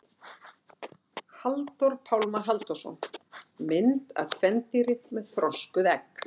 Halldór Pálmar Halldórsson: Mynd af kvendýri með þroskuð egg.